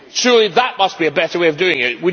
Surely that must be a better way of doing it.